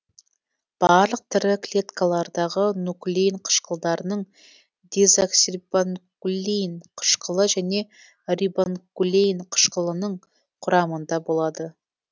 барлық тірі клеткалардағы нуклеин қышқылдарының дезоксирибонуклеин қышқылы және рибонуклеин қышқылының құрамында болады